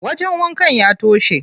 Wajen wankan ya toshe.